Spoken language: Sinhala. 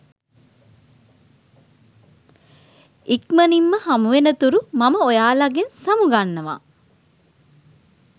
ඉක්මණින්ම හමුවෙනතුරු මම ඔයාලගෙන් සමු ගන්නවා